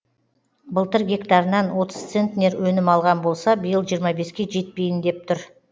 былтыр гектарынан отыз центнер өнім алған болса биыл жиырма беске жетпейін деп тұр